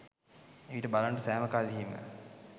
එවිට බලන්න සෑම කල්හීම